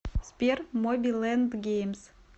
сбер моби лэнд геймс